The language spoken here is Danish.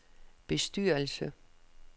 bestyrelse